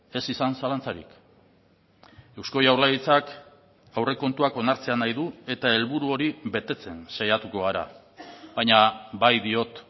ez izan zalantzarik eusko jaurlaritzak aurrekontuak onartzea nahi du eta helburu hori betetzen saiatuko gara baina bai diot